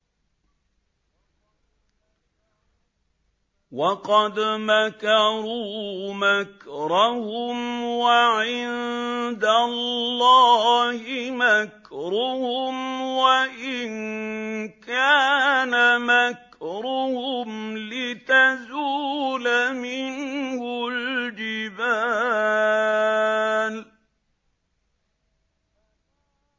وَقَدْ مَكَرُوا مَكْرَهُمْ وَعِندَ اللَّهِ مَكْرُهُمْ وَإِن كَانَ مَكْرُهُمْ لِتَزُولَ مِنْهُ الْجِبَالُ